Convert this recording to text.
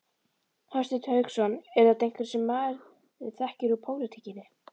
Hafsteinn Hauksson: Eru þetta einhverjir sem maður þekkir úr pólitíkinni?